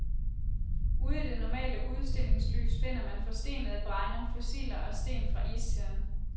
Ude i det normale udstillingslys finder man forstenede bregner, fossiler og sten fra istiden.